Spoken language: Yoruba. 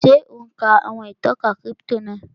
Ṣé ò ún ka àwọn ìtọ́ka kírípítò náà?